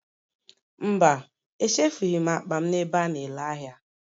Mba, echefughị ​​m akpa m n'ebe a na-ere ahịa